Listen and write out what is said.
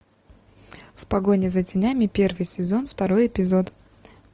в погоне за тенями первый сезон второй эпизод